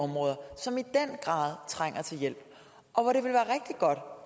områder som i den grad trænger til hjælp og